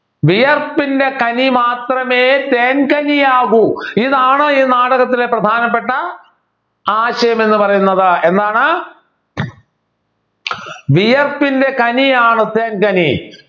വിയർപ്പിൻ്റെ കനി മാത്രമേ തേൻകനിയാവൂ ഇതാണ് ഈ നാടകത്തിലെ പ്രധാനപ്പെട്ട ആശയം എന്ന് പറയുന്നത് എന്താണ് കനിയാണ് തേൻകനി